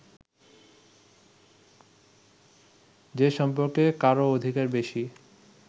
যে সম্পর্কে কারও অধিকার বেশি